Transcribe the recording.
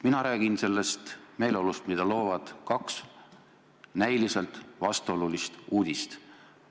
Mina räägin sellest meeleolust, mida loovad kaks näiliselt vastuolulist uudist.